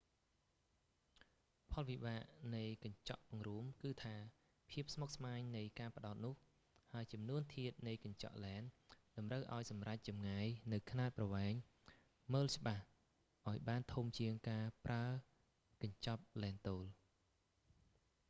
ផលវិបាកនៃកញ្ចក់ពង្រួម គឺថាភាពស្មុគស្មាញនៃការផ្តោតនោះ ហើយចំនួនធាតុនៃកញ្ចក់ឡែន តម្រូវឱ្យសម្រេចចម្ងាយនូវខ្នាតប្រវែងមើលច្បាស់ឱ្យបានធំជាងការប្រើកញ្ចប់ឡែនទោល